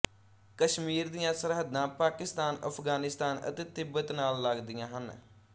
ਕਸ਼ਮੀਰ ਦੀਆਂ ਸਰਹੱਦਾਂ ਪਾਕਿਸਤਾਨਅਫ਼ਗ਼ਾਨਿਸਤਾਨ ਅਤੇ ਤਿੱਬਤ ਨਾਲ ਲਗਦੀਆਂ ਹਨ